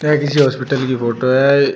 यह किसी हॉस्पिटल की फोटो है अ--